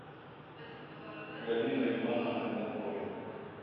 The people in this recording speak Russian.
галиной ивановной моховой